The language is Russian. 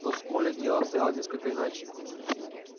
но с колли дело обстояло несколько иначе